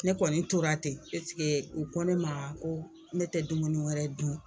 Ne kɔni tora ten u ko ne maa ko ne tɛ dumuni wɛrɛ dun